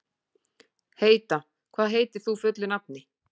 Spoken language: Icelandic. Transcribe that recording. Heida, hvað heitir þú fullu nafni?